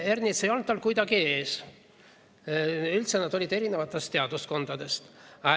Ernits ei olnud tal kuidagi ees, üldse nad olid erinevatest teaduskondadest.